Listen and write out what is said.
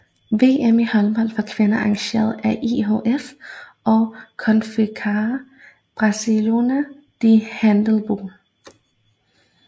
VM i håndbold for kvinder arrangeret af IHF og Confederação Brasileira de Handebol